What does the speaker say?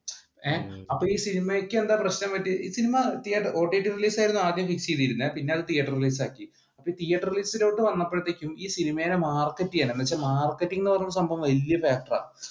ഏർ അപ്പൊ ഈ സിനിമക്ക് എന്താ പ്രശ്നം പറ്റിയെ ഈ സിനിമ ഓടിടി റിലീസ് ആയിരുന്നു ആദ്യം ചെയ്തിരുന്നേ, പിന്നെ അത് തിയേറ്റർ പ്രിന്റ് ആക്കി തീയേറ്റർ list ലേക്ക് വന്നപ്പോഴത്തേക്ക് ഈ സിനിമയിനെ മാർക്കറ്റ് ചെയ്യണം. മാർക്കറ്റിംഗ് എന്ന് പറഞ്ഞ സംഭവം വലിയ factor ആണ്